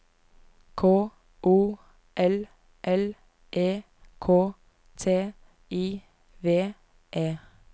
K O L L E K T I V E